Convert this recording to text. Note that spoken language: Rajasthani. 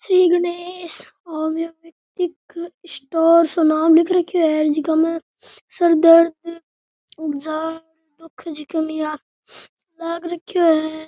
श्री गणेश होम्योपैथिक स्टोर सो नाम लिख रखयो है जीका में सर दर्द उगजा कमिया लाग रखयो है।